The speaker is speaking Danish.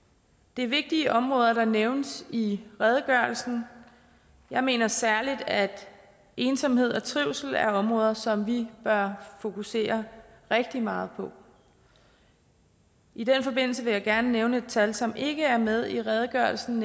det er vigtige områder der nævnes i redegørelsen jeg mener særligt at ensomhed og trivsel er områder som vi bør fokusere rigtig meget på i den forbindelse vil jeg gerne nævne et tal som ikke er med i redegørelsen